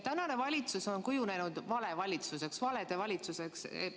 " Tänane valitsus on kujunenud valede valitsuseks.